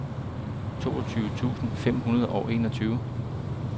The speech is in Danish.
toogtyve tusind fem hundrede og enogtyve